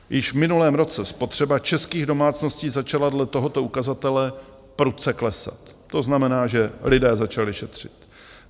Již v minulém roce spotřeba českých domácností začala dle tohoto ukazatele prudce klesat, to znamená, že lidé začali šetřit.